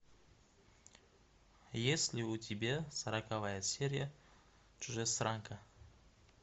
есть ли у тебя сороковая серия чужестранка